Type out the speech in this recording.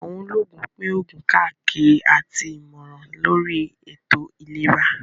Àwọn olóògùn pín òògùn káàkiri àti ìmọ̀ràn lóri ètò ìlera